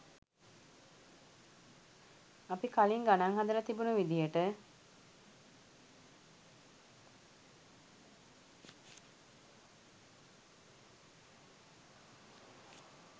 අපි කලිං ගණං හදලා තිබුණු විදියට